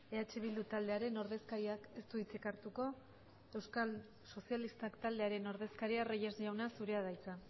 eh bildu taldearen ordezkariak ez du hitzik hartuko euskal sozialistak taldearen ordezkaria reyes jauna zurea da hitza